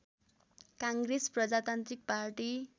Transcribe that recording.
काङ्ग्रेस प्रजातान्त्रिक पार्टी